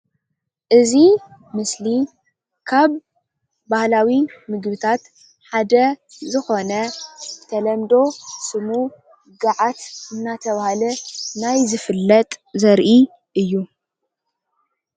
እዚ ምስሊ ካብ ባህላዊ ምግብታት ሓደ ዝኾነ ብተለምዶ ስሙ ገዓት እናተባህለ ናይ ዝፍለጥ ዘርኢ እዩ።